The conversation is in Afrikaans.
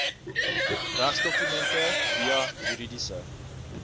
regsdokumente via juridiese